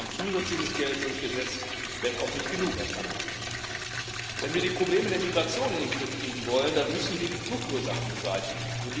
Wir haben zusätzliches Geld durchgesetzt wenn auch nicht genug aus meiner Sicht. Wenn wir die Probleme der Migration in den Griff kriegen wollen, dann müssen wir die Fluchtursachen beseitigen.